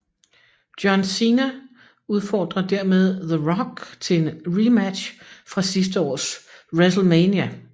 John Cena udfordrer dermed The Rock til en rematch fra sidste års WrestleMania